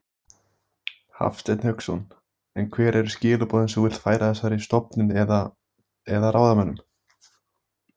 Hafsteinn Hauksson: En hver eru skilaboðin sem þú vilt færa þessari stofnun eða, eða ráðamönnum?